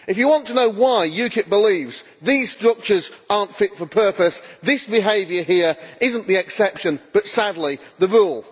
If you want to know why UKIP believes these structures are not fit for purpose, this behaviour here is not the exception but, sadly, the rule.